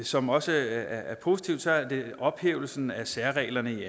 som også er positivt så er det ophævelsen af særreglerne i